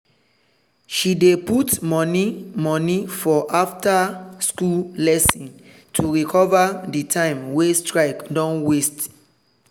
she dey put money money for after-school lesson to recover the time wey strike don waste.